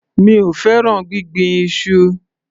Mi ò fẹ́ràn gbíngbin iṣu.